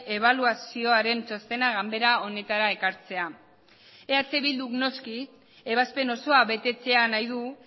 ebaluazioaren txostena ganbera honetara ekartzea eh bilduk noski ebazpen osoa betetzea nahi du